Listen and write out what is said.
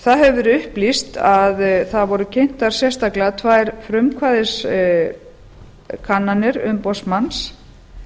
það hefur verið upplýst að það voru kynntar sérstaklega tvær frumkvæðiskannanir umboðsmanns